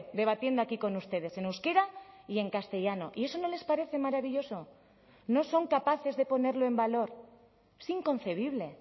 debatiendo aquí con ustedes en euskera y en castellano y eso no les parece maravilloso no son capaces de ponerlo en valor es inconcebible